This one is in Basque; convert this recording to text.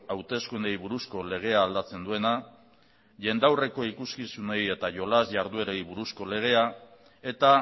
hauteskundeei buruzko legea aldatzen duena jendaurreko ikuskizunei eta jolas jarduerei buruzko legea eta